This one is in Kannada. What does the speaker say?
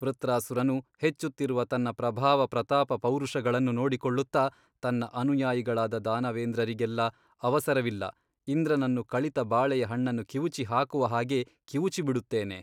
ವೃತ್ರಾಸುರನು ಹೆಚ್ಚುತ್ತಿರುವ ತನ್ನ ಪ್ರಭಾವಪ್ರತಾಪಪೌರುಷಗಳನ್ನು ನೋಡಿಕೊಳ್ಳುತ್ತ ತನ್ನ ಅನುಯಾಯಿಗಳಾದ ದಾನವೇಂದ್ರರಿಗೆಲ್ಲ ಅವಸರವಿಲ್ಲ ಇಂದ್ರನನ್ನು ಕಳಿತ ಬಾಳೆಯ ಹಣ್ಣನ್ನು ಕಿವುಚಿಹಾಕುವ ಹಾಗೆ ಕಿವುಚಿ ಬಿಡುತ್ತೇನೆ.